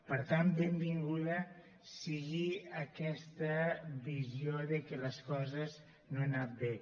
per tant benvinguda sigui aquesta visió de que les coses no han anat bé